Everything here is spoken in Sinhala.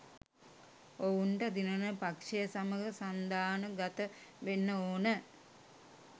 ඔවුන්ට දිනන පක්ෂය සමග සන්දාන ගත වෙන්න ඕන